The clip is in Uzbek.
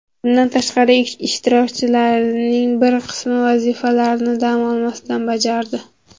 Bundan tashqari, ishtirokchilarning bir qismi vazifalarni dam olmasdan bajardi.